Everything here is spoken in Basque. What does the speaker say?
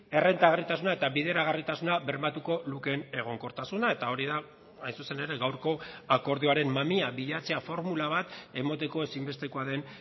errentagarritasuna eta bideragarritasuna bermatuko lukeen egonkortasuna eta hori da hain zuzen ere gaurko akordioaren mamia bilatzea formula bat emateko ezinbestekoa den